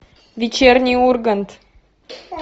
вечерний ургант